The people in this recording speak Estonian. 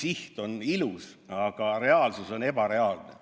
Siht on küll ilus, aga see pole reaalne.